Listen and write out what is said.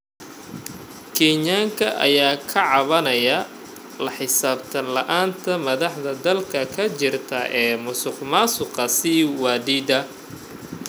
Kenyaanka ayaa ka cabanayey la xisaabtan la�aanta madaxda dalka ka jirta ee musuq maasuqa sii wadida.